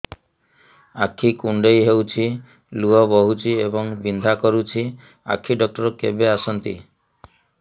ଆଖି କୁଣ୍ଡେଇ ହେଉଛି ଲୁହ ବହୁଛି ଏବଂ ବିନ୍ଧା କରୁଛି ଆଖି ଡକ୍ଟର କେବେ ଆସନ୍ତି